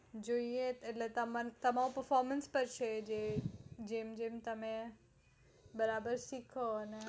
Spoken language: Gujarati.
જોયે તમારા performance પાર છે જે જેમ જેમ તમે બરાબર શીખો